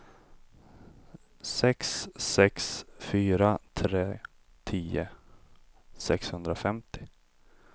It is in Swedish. sex sex fyra tre tio sexhundrafemtio